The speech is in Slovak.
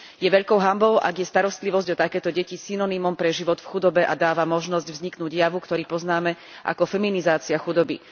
Je veľkou hanbou, ak je starostlivosť o takéto deti synonymom pre život v chudobe a dáva možnosť vzniknúť javu, ktorý poznáme ako feminizácia chudoby.